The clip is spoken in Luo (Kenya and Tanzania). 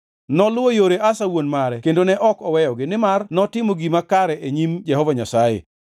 Noluwo yore Asa wuon mare kendo ne ok oweyogi, nimar notimo gima kare e nyim Jehova Nyasaye.